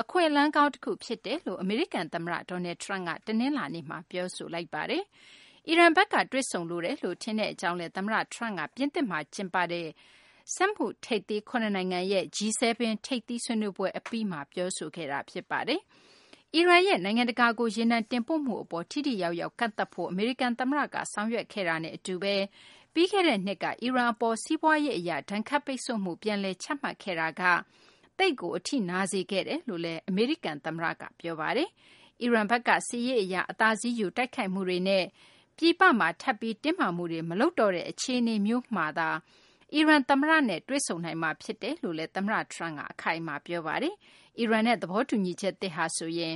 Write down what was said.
အခွင့်အလမ်းကောင်းတခု ဖြစ်တယ်လို့ အမေရိကန် သမ္မတ Donald Trump က တနလာၤနေ့မှာ ပြောဆိုလိုက်ပါတယ်။ အီရန်ဘက်က တွေ့ဆုံလိုတယ်လို့ ထင်တဲ့ အကြောင်း သမ္မတ Trump က ပြင်သစ်မှာ ကျင်းပတဲ့ စက်မှုထိပ်သီး ၇နိုင်ငံရဲ့ G-7 ထိပ်သီးဆွေးနွေးပွဲ အပြီးသတ်မှာ ပြောဆိုခဲ့တာပါ။ အီရန်ရဲ့ နိုင်ငံတကာကို ရေနံတင်ပို့မှု အပေါ် ထိထိရောက်ရောက် ကန့်သတ်ဖို့ အမေရိကန် သမ္မတက ဆောင်ရွက်ခဲ့တာနဲ့ အတူဘဲ ပြီးခဲ့တဲ့ နှစ်က အီရန် အပေါ် စီးပွားရေးအရ ဒဏ်ခတ်ပိတ်ဆို့မှု ပြန်လည် ချမှတ်ခဲ့မှုက အီရန် အပေါ် သိပ်ကို အထိနာစေခဲ့တယ်လို့လည်း အမေရိကန် သမ္မတက ပြောပါတယ်။ အီရန်ဘက်က စစ်ရေးအရ အသာစီးယူ တိုက်ခိုက်မှုတွေနဲ့ ပြည်ပမှာ ထပ်ပြီး တင်းမာမှုတွေ မလုပ်တော့တဲ့ အခြေအနေမျိုးမှာသာ အီရန် သမ္မတ Rouhani နဲ့ တွေ့ဆုံနိုင်မှာ ဖြစ်တယ်လို့လည်း သမ္မတ Trump က အခိုင်အမာ ပြောဆိုပါတယ်။ အီရန်နဲ့ သဘောတူညီချက်သစ်ဟာဆိုရင်